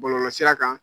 Bɔlɔlɔsira kan